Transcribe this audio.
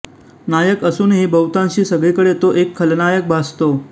नायक असूनही बहुतांशी सगळीकडे तो एक खलनायक भासतो